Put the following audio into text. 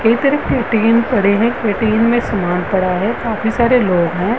एक तरफ पड़े है। में समान पड़ा है काफी सारे लोग हैं।